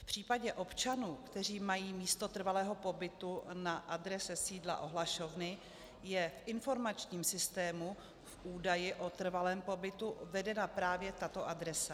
V případě občanů, kteří mají místo trvalého pobytu na adrese sídla ohlašovny, je v informačním systému jako údaj o trvalém pobytu vedena právě tato adresa.